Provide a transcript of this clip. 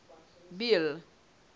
bill